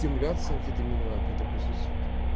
симуляция амфетаминовая какая-то присутствует